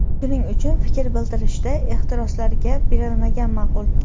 Shuning uchun fikr bildirishda ehtiroslarga berilmagan ma’qul.